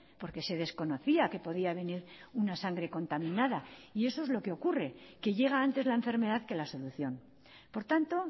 porque se desconocía que podía venir una sangre contaminada y eso es lo que ocurre que llega antes la enfermedad que la solución por tanto